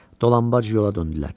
Dolanbac yola döndülər.